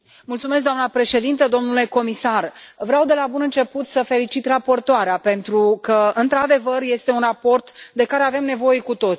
Doamnă președintă, domnule comisar, vreau de la bun început să felicit raportoarea pentru că, într adevăr, este un raport de care avem nevoie cu toții.